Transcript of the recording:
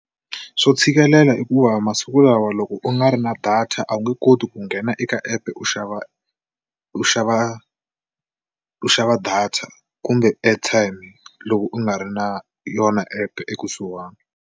Swo tshikelela i ku va masiku lawa loko u nga ri na data a wu nge koti ku nghena eka app u xava u xava u xava data kumbe airtime loko u nga ri na yona epe ekusuhani.